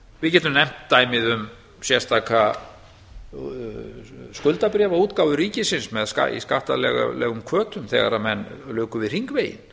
við getum nefnt dæmið um sérstaka skuldabréfaútgáfu ríkisins með skattalegum hvötum þegar að menn luku við hringveginn